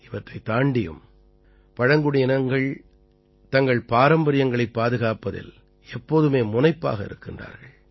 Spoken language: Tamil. இவற்றைத் தாண்டியும் பழங்குடியினங்கள் தங்கள் பாரம்பரியங்களைப் பாதுகாப்பதில் எப்போதுமே முனைப்பாக இருக்கின்றார்கள்